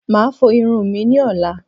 Màá a fo irun mi ní ọ̀la